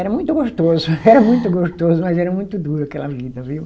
Era muito gostoso, era muito gostoso, mas era muito duro aquela vida, viu?